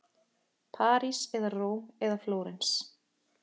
París eða Róm eða Flórens.